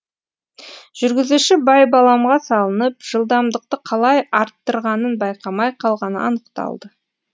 жүргізуші байбаламға салынып жылдамдықты қалай арттырғанын байқамай қалғаны анықталды